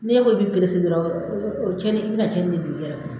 N'e ko i bi perese dɔrɔn oo o kɛli i bi na tiɲɛni de don i yɛrɛ kun na.